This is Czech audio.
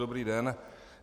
Dobrý den.